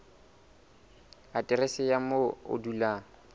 aterese ya moo o dulang